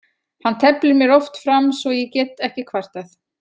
Hann teflir mér oft fram svo ég get ekki kvartað.